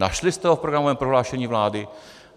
Našli jste ho v programovém prohlášení vlády?